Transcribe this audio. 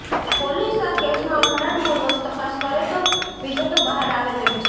police આ કેસમાં ઉંડાણપૂર્વક તપાસ કરે તો વિગતો બહાર આવે તેમ છે